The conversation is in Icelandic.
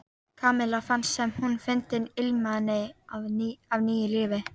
Kamilla fannst sem hún fyndi ilminn af nýju lífi.